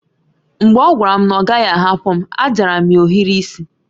Mgbe ọ gwara m na ọ ga a hapu m, a jara m ya ohiri isi